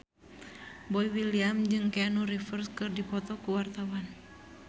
Boy William jeung Keanu Reeves keur dipoto ku wartawan